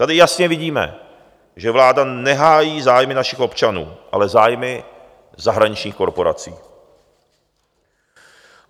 Tady jasně vidíme, že vláda nehájí zájmy našich občanů, ale zájmy zahraničních korporací.